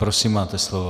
Prosím, máte slovo.